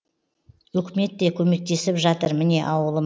өкімет те көмектесіп жатыр міне ауылым